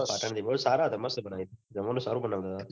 પાટણથી પણ સારા હતા મસ્ત હતામસ્ત જમવાનું સારું બનાવતા હતા